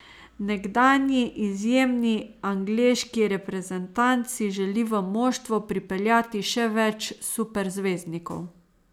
Nekdanji izjemni angleški reprezentant si želi v moštvo pripeljati še več superzvezdnikov.